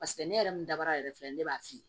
Paseke ne yɛrɛ min dabara yɛrɛ filɛ ne b'a f'i ye